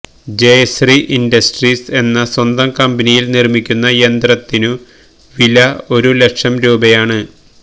Jayashree industries എന്ന സ്വന്തം കമ്പനിയില് നിര്മിക്കുന്ന യന്ത്രത്തിനു വില ഒരു ലക്ഷം രൂപയാണ്